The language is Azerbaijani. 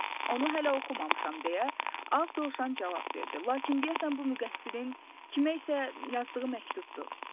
Onu hələ oxumamışam deyə ağ Dovşan cavab verdi, lakin deyəsən bu müqəssirin kimə isə yazdığı məktubdur.